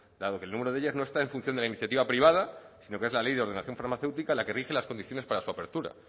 dado que el número de ellas no está en función de la iniciativa privada sino que es la ley de ordenación farmaceútica la que rige las condiciones para su apertura